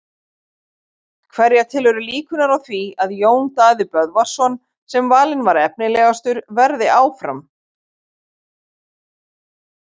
Hverja telurðu líkurnar á því að Jón Daði Böðvarsson sem valinn var efnilegastur verði áfram?